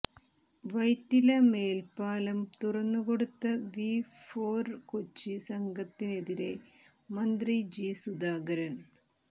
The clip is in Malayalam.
വൈറ്റില മേല്പ്പാലം തുറന്നുകൊടുത്ത വി ഫോര് കൊച്ചി സംഘത്തിനെതിരെ മന്ത്രി ജി സുധാകരന്